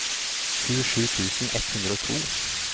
tjuesju tusen ett hundre og to